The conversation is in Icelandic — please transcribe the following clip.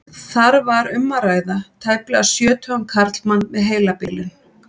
Þar var um að ræða tæplega sjötugan karlmann með heilabilun.